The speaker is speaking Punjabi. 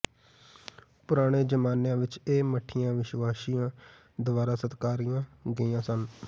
ਪੁਰਾਣੇ ਜ਼ਮਾਨਿਆਂ ਵਿਚ ਇਹ ਮਠੀਆਂ ਵਿਸ਼ਵਾਸੀਆਂ ਦੁਆਰਾ ਸਤਿਕਾਰੀਆਂ ਗਈਆਂ ਸਨ